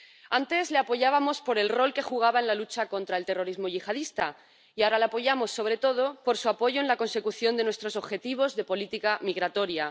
Antes le apoyábamos por el rol que jugaba en la lucha contra el terrorismo yihadista y ahora le apoyamos sobre todo por su apoyo en la consecución de nuestros objetivos de política migratoria.